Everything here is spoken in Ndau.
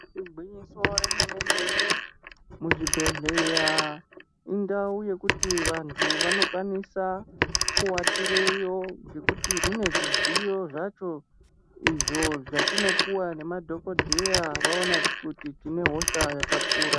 I kuchibhedhleya remene-mene, muchibhedhleya indau yekuti vantu vanokwanisa kuwatireyo, ngekuti mune zvidziyo zvacho, izvo zvatinoouwa nemadhokodheya, vaona kuti tine hosha yakakura .